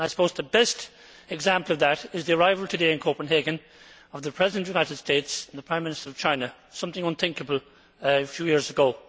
I suppose the best example of that is the arrival today in Copenhagen of the President of the United States and the Prime Minister of China, something unthinkable a few years ago.